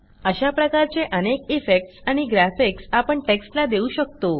अशा प्रकारचे अनेक इफेक्ट्स आणि ग्राफिक्स आपण टेक्स्टला देऊ शकतो